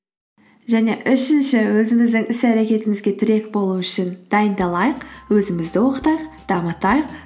және үшінші өзіміздің іс әрекетімізге тірек болу үшін дайындалайық өзімізді оқытайық дамытайық